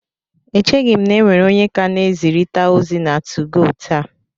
Echeghị m na e nwere onye ka na-ezirịta ozi na 2go taa